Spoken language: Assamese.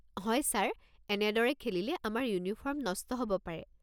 হয় ছাৰ, এনেদৰে খেলিলে আমাৰ ইউনিফৰ্ম নষ্ট হ'ব পাৰে।